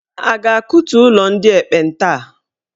A ga-akụtu ụlọ ndị ekpenta a?